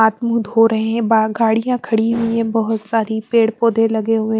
हाथ मुँह धो रहे हैं बा गाड़ियाँ खड़ी हुईं हैं बहुत सारी पेड़ पौधे लगे हुए --